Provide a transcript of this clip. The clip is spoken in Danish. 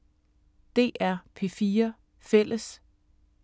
DR P4 Fælles